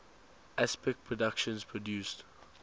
aspect productions produced